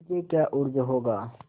मुझे क्या उज्र होगा